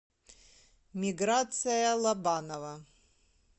миграция лобанова